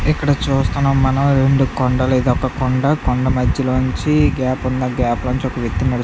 మనం ఎండ కొండ లేదా పలకల మధ్య నుంచి గ్యాప్ ఉన్న వ్యాపార వ్యవహారవ్యక్తులు--